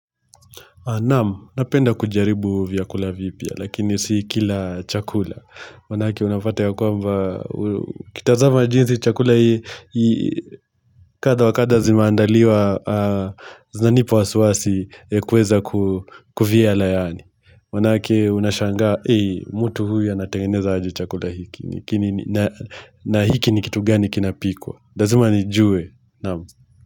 Naam, napenda kujaribu vyakula vipa, lakini si kila chakula. Maanake unapata ya kwamba, ukitazama jinsi chakula hii, kadha wa kadha zimeandaliwa, zinanipa wasiwasi, kuweza kuvyala yaani. Maanake unashangaa, eeh, mtu huyu anatengeneza aje chakula hiki, na hiki ni kitu gani kinapikwa. Lazima nijue, naamu.